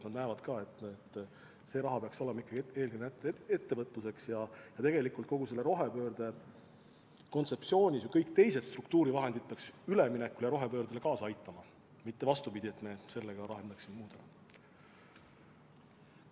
Nad näevad ka, et see raha peaks minema ikkagi eelkõige ettevõtluseks ja et kogu selle rohepöörde kontseptsiooni elluviimisel ka kõik teised struktuurivahendid peaksid üleminekule ja rohepöördele kaasa aitama, mitte vastupidi, et me selle rahaga lahendaksime ka muid probleeme.